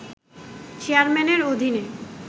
চেয়ারম্যানের অধীনে